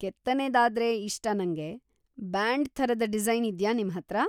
ಕೆತ್ತನೆದಾದ್ರೆ ಇಷ್ಟ ನಂಗೆ. ಬ್ಯಾಂಡ್‌ ಥರದ ಡಿಸೈನ್‌ ಇದ್ಯಾ ನಿಮ್ಹತ್ರ?